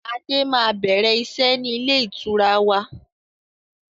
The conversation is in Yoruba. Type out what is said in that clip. Adé máa bẹ̀rẹ̀ iṣẹ́ ni ilé ìtura wa